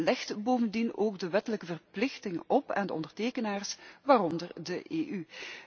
Het legt bovendien ook een wettelijke verplichting op aan de ondertekenaars, waaronder de EU.